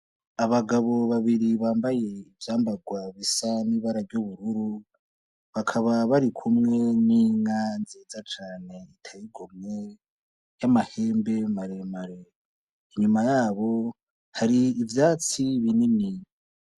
Abagabo babiri bambaye ivyambarwa bisa n'ibara ryubururu bakaba bari kumwe n'inka nziza cane iteye igomwe y'amahembe maremare, inyuma yabo hari ivyatsi binini.